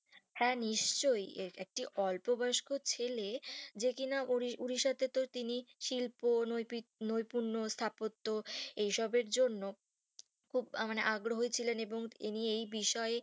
হ্যাঁ নিশ্চই একটি অল্প বয়সী ছেলে যে কিনা উড়িশাতে তিনি শিল্প নোই পূর্ণ স্থাপত্য এই সবের জন্য খুব মানে আগ্রহ ছিলেন তিনি এই বিষয়ে